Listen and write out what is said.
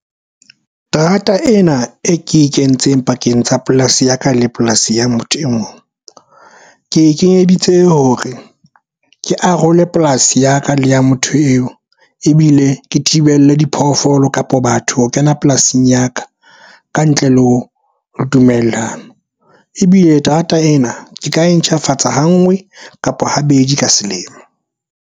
Terata ena e ke e kentseng pakeng tsa polasi ya ka le polasi ya motho e mong ke e kenyeditse hore ke arole polasi ya ka le ya motho eo ebile le ke thibelle diphoofolo kapa batho ho kena polasing ya ka ka ntle le ho dumellana. Ebile terata ena ke ka e ntjhafatsa ha ngwe kapa habedi ka selemo.